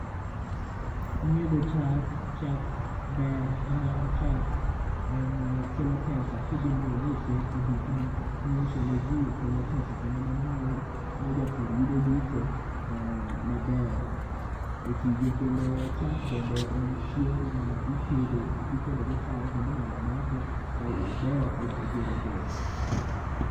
Nyiedho chak, chak ber ni mar chak kelo pesa kidhi mi use e dukni mi i use ne ji kelo pesa kendo mano miyo ja pur yudo yuto maber e tije kendo chak bende en chiemo ma itedo go chai kendo inyalo madhe ober e gero del.